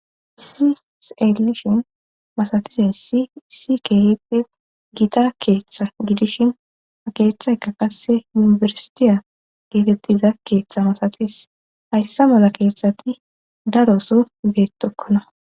isiselishin masatizay s isi keeppe gita keeththa gidishin a keeththaykka kasse yunifersitiya geetettiza keeththa masatis hayssa mala keeththati daro so beetokkona